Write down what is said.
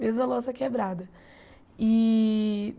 Mesmo a louça quebrada. E